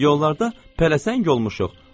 Yollarda pələsəng olmuşuq.